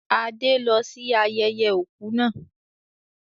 Adé lọ sí ayẹyẹ òkú náà